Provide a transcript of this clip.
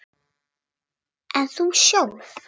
En þú sjálf?